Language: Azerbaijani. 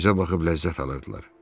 Bizə baxıb ləzzət alırdılar.